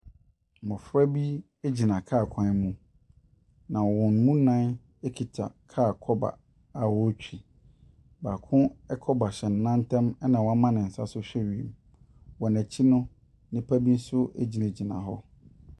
Mmɔfra bi gyina kaa kwan mu, na wɔn nnan kura kaa kɔba a wɔretwi. Baako kɔba hyɛ ne nan ntam na wɔama ne nsa so hwɛ wiem. Wɔn akyi no, nnipa bi nso gyinagyina hɔ.